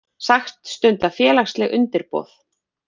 Sagt stunda félagsleg undirboð